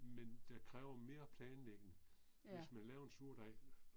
Men det kræver mere planlægning, hvis man laver en surdej